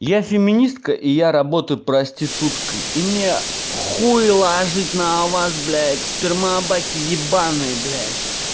я феминистка и я работаю проституткой и мне хуй ложить на вас блядь сперма баки ебанные блядь